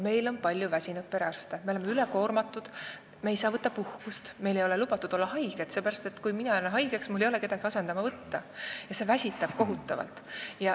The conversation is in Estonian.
Meil on palju väsinud perearste, me oleme ülekoormatud, me ei saa võtta puhkust, meil ei ole lubatud olla haiged – sest kui mina jään haigeks, siis ei ole mul kedagi asendama võtta – ja see väsitab kohutavalt.